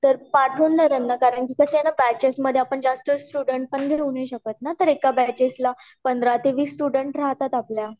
तर पाठवून द्या त्यांना कारण कि कस आहे न बैचेस मध्ये आपण जास्त स्टूडेंट पण घेऊ नाही शकत न तर एका बैचला पंधरा ते वीस स्टूडेंट राहतात आपल्या